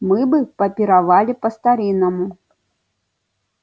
мы бы попировали по-старинному